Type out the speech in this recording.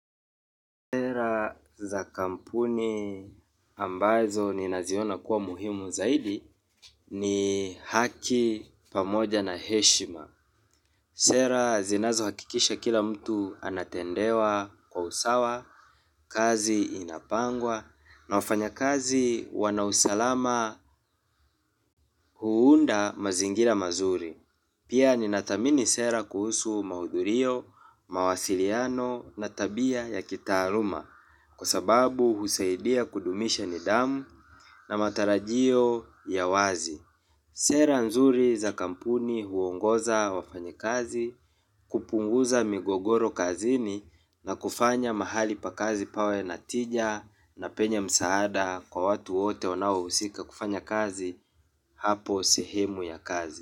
Sera za kampuni ambazo ni naziona kuwa muhimu zaidi ni haki pamoja na heshima. Sera zinazo hakikisha kila mtu anatendewa kwa usawa, kazi inapangwa na wafanya kazi wana usalama huunda mazingira mazuri. Pia ni nathamini sera kuhusu maudhurio, mawasiliano na tabia ya kitaaluma kwasababu husaidia kudumisha ni dhamu na matarajio ya wazi. Sera nzuri za kampuni huongoza wafanya kazi, kupunguza migogoro kazini na kufanya mahali pakazi pawe natija na penye msaada kwa watu wote nawo usika kufanya kazi hapo sehemu ya kazi.